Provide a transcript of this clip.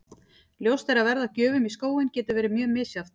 Ljóst er að verð á gjöfum í skóinn getur verið mjög misjafnt.